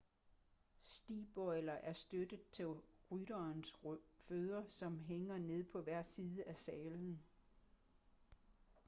stigbøjler er støtter til rytterens fødder som hænger ned på hver side af sadlen